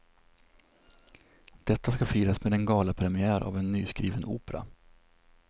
Detta ska firas med en galapremiär av en nyskriven opera.